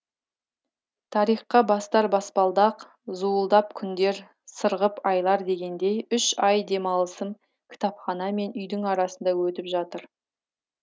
тарихқа бастар баспалдақ зуылдап күндер сырғып айлар дегендей үш ай демалысым кітапхана мен үйдің арасында өтіп жатыр